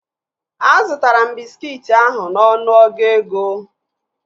Azụtara m bịskit ahụ n'ọnụ ọgụ ego